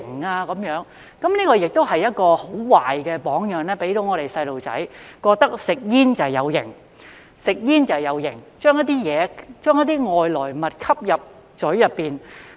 這也給小朋友一個很壞的榜樣，覺得吸煙很"有型"，就是把一些外來物吸入口中。